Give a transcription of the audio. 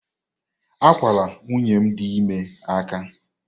Akwala nwunye m dị ime aka!